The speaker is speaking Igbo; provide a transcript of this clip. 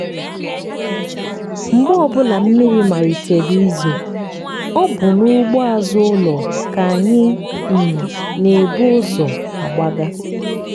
mgbe ọbụla mmiri malitere izo ọ bụ n'ugbo azụ ụlọ ka anyị um n'ebu ụzọ agbaga.